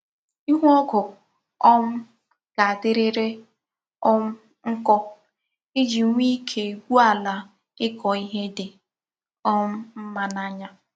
Ihu ogu um ga-adiriri um nko Iji nwee Ike gwuo ala ikò ihe di um mma n'anya.